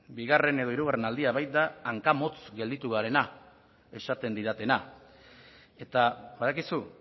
bigarren edo hirugarren aldia baita hankamotz gelditu garena esaten didatena eta badakizu